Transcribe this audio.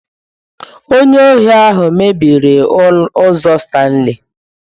Onye ohi ahụ mebiri ụzọ Stanley.